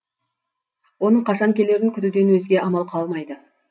оның қашан келерін күтуден өзге амал қалмайды